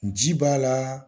Ji b'a la